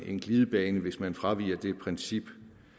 en glidebane hvis man fraviger det princip